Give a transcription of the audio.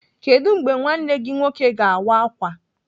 Kedụ mgbe nwanne gị nwoke ga-awa ákwà?